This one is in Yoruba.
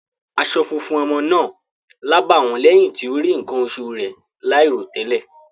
Aṣọ funfun ọmọ náà lábàwọ́n lẹ́yìn tí ó rí nǹkan oṣù rẹ̀ láìròtẹ́lẹ̀.